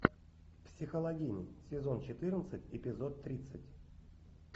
психологини сезон четырнадцать эпизод тридцать